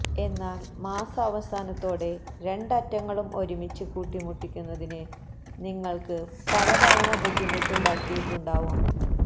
എന്നാൽ മാസാവസാനത്തോടെ രണ്ട് അറ്റങ്ങളും ഒരുമിച്ച് കൂട്ടിമുട്ടിക്കുന്നതിന് നിങ്ങൾക്ക് പലതവണ ബുദ്ധിമുട്ടുണ്ടാക്കിയിട്ടുണ്ടാവാം